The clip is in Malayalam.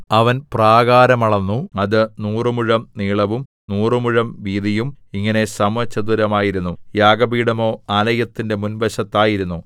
അവൻ പ്രാകാരം അളന്നു അത് നൂറുമുഴം നീളവും നൂറുമുഴം വീതിയും ഇങ്ങനെ സമചതുരമായിരുന്നു യാഗപീഠമോ ആലയത്തിന്റെ മുൻവശത്തായിരുന്നു